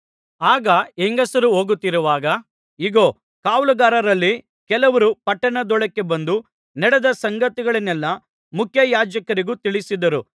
ಆಗ ಹೆಂಗಸರು ಹೋಗುತ್ತಿರುವಾಗ ಇಗೋ ಕಾವಲುಗಾರರಲ್ಲಿ ಕೆಲವರು ಪಟ್ಟಣದೊಳಕ್ಕೆ ಬಂದು ನಡೆದ ಸಂಗತಿಗಳನ್ನೆಲ್ಲಾ ಮುಖ್ಯಯಾಜಕರಿಗೆ ತಿಳಿಸಿದರು